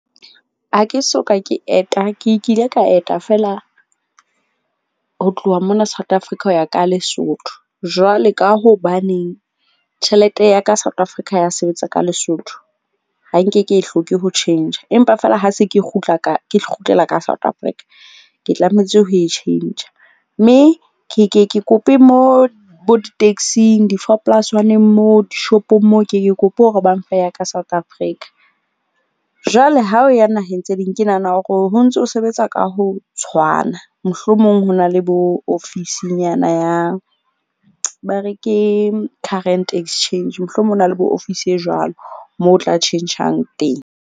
Ha ke so ka ke eta. Ke kile ka eta feela ho tloha mona South Africa ho ya ka Lesotho. Jwale ka hobaneng tjhelete ya ka South Africa ya sebetsa ka Lesotho. Ha nke ke e hloke ho tjhentjha, empa fela ha se ke kgutla ka ke kgutlela ka South Africa ke tlametse ho e tjhentjha. Mme ke ke ke kope mo bo di-taxing, di-four plus one-ing mo, di-shop-ong moo, ke ke kope hore ba mfe ya ka South Africa. Jwale ha o ya naheng tse ding, ke nahana hore ho ntso sebetsa ka ho tshwana. Mohlomong ho na le bo ofisinyana ya, ba re ke current exchange. Mohlomong ho na le bo ofisi e jwalo moo o tla tjhentjhang teng.